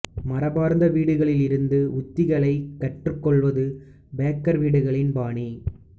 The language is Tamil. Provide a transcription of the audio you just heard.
மரபார்ந்த வீடுகளில் இருந்து உத்திகளைக் கற்றுக்கொள்வது பேக்கர் வீடுகளின் பாணி